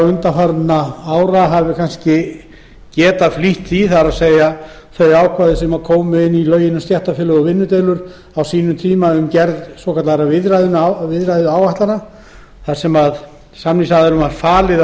undanfarinna ára getur kannski flýtt samningagerðinni það er ákvæðið sem kom inn í lög um stéttarfélög og vinnudeilur á sínum tíma það fjallar um gerð svokallaðra viðræðuáætlana þar sem samningsaðilunum er falið